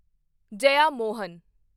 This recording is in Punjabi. ਜੇਯਾਮੋਹਨ